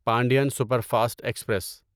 Pandian superfast express